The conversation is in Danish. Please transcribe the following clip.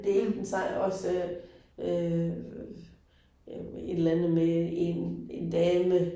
Det ikke den også øh øh et eller andet med en en dame